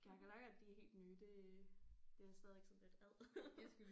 Kakerlakker de er helt nye det det er stadigvæk sådan lidt ad